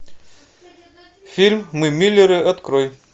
фильм мы миллеры открой